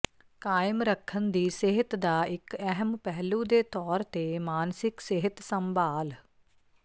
ਕਾਇਮ ਰੱਖਣ ਦੀ ਸਿਹਤ ਦਾ ਇਕ ਅਹਿਮ ਪਹਿਲੂ ਦੇ ਤੌਰ ਤੇ ਮਾਨਸਿਕ ਸਿਹਤ ਸੰਭਾਲ